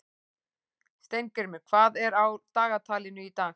Steingrímur, hvað er á dagatalinu í dag?